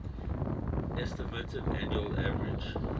estimated annual average